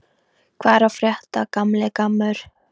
Hvað er að frétta, gamli gammur?